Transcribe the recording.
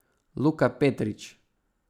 Luka Petrič.